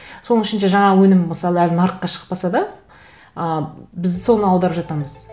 соның ішінде жаңағы өңім мысалы әлі нарыққа шықпаса да ы біз соны аударып жатамыз